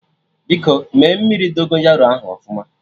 Biko mee mmiri Dogonyaro ahụ ọfụma